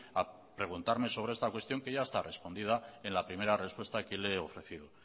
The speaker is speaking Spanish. a preguntarme sobre esta cuestión que ya está respondida en la primera respuesta que le he ofrecido